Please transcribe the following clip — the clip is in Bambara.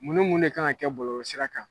Mun ni mun de kan ka kɛ bɔlɔlɔ sira kan ?